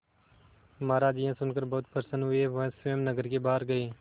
महाराज यह सुनकर बहुत प्रसन्न हुए वह स्वयं नगर के बाहर गए